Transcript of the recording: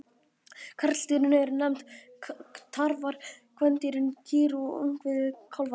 Karldýrin eru nefnd tarfar, kvendýrin kýr og ungviðið kálfar.